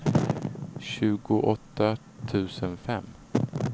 tjugoåtta tusen fem